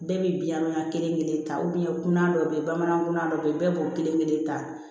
Bɛɛ bɛ biɲanmaya kelenkelen ta kunna dɔw bɛ yen bamanankan dɔ bɛ yen bɛɛ b'o kelen kelen ta